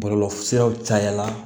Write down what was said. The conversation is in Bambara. Bɔlɔlɔsiraw cayala